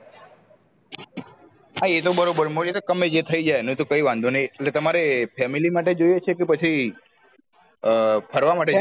હા તો બરોબર મળે તો કમાઈ જાય થયી જાય એનું તો કયી વાંધો નહિ એટલે તમારે family માટે જોઇયે છે કે પછી આ ફરવા માટે